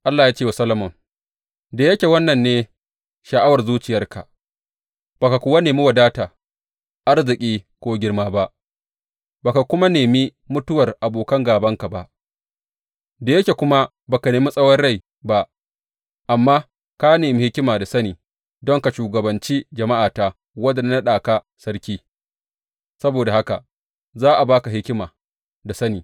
Allah ya ce wa Solomon, Da yake wannan ne sha’awar zuciyarka, ba ka kuwa nemi wadata, arziki ko girma ba, ba ka kuma nemi mutuwar abokan gābanka ba, da yake kuma ba ka nemi tsawon rai ba, amma ka nemi hikima da sani don ka shugabanci jama’ata wadda na naɗa ka sarki, saboda haka za a ba ka hikima da sani.